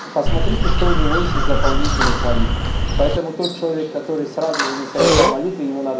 посмотрите что у него есть из дополнительных молитв поэтому тот человек который сразу же не совершал молитвы ему надо